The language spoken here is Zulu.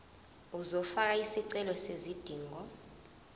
uzofaka isicelo sezidingo